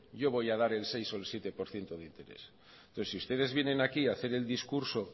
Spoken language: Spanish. yo voy a dar el seis o el siete por ciento de interés entonces si ustedes vienen aquí a hacer el discurso